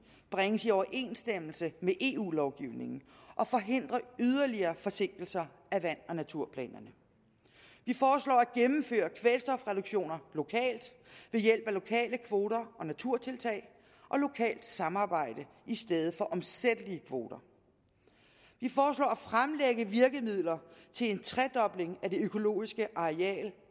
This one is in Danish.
bringes i overensstemmelse med eu lovgivningen og forhindre yderligere forsinkelser af vand og naturplanerne at gennemføre kvælstofreduktioner lokalt ved hjælp af lokale kvoter og naturtiltag og lokalt samarbejde i stedet for omsættelige kvoter at fremlægge virkemidler til en tredobling af det økologiske areal